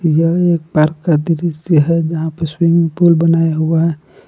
यह एक पार्क का दृसय है यहां पर स्विमिंग पूल बनाया हुआ है ।